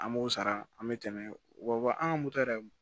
An b'o sara an bɛ tɛmɛ wa an ka moto yɛrɛ